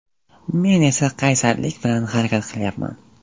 Men esa qaysarlik bilan harakat qilyapman.